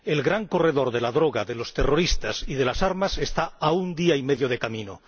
El gran corredor de la droga, de los terroristas y de las armas está a un día y medio de camino.